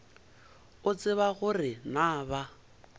o tseba gore na ba